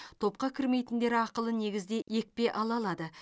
топқа кірмейтіндер ақылы негізде екпе ала алады